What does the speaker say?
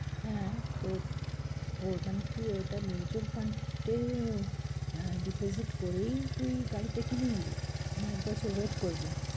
হ্যাঁ, তো তোর মানে তুই ওইটা mutual fund এ আহ deposit করেই তুই গাড়িটা কিনে নিবি? না এক বছর wait করবি।